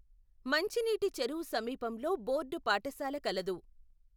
మంచినీటి చెరువు సమీపంలో బోర్డు పాఠశాల కలదు.